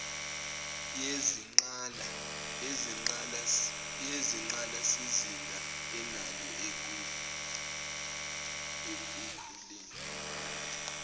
yezingqalasizinda enalo ekukhuleni